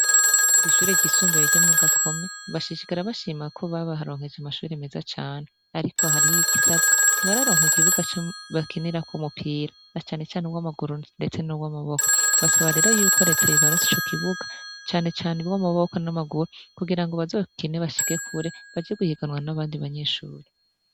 Kwishure ryisumbuye ryo mugakomo bongera bashima ko baronkejwe amashuri meza cane ariko hariho igisabwa ntibararonka ikibuga bakiniramwo umupira na cane cane uwamaguru ndetse nuwamaboko basab rero reta yobaronsa ico kibuga cane cane uwamaboko nuwamaguru kugira ngo bazokine bashike kure baje guhiganwa nabandi banyeshure